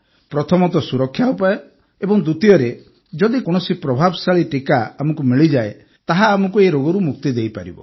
ପ୍ରଥମତଃ ସୁରକ୍ଷା ଉପାୟ ଏବଂ ଦ୍ୱିତୀୟରେ ଯଦି କୌଣସି ପ୍ରଭାବଶାଳୀ ଟିକା ଆମକୁ ମିଳିଯାଏ ତାହା ଆମକୁ ଏହି ରୋଗରୁ ମୁକ୍ତି ଦେଇପାରିବ